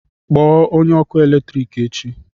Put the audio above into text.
Kpọọ onye ọkụ eletrik echi